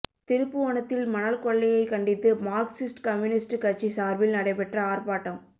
திருப்புவனத்தில் மணல் கொள்ளையைக் கண்டித்து மார்க்சிஸ்ட் கம்யூனிஸ்ட் கட்சி சார்பில் நடைபெற்ற ஆர்ப்பாட்டம்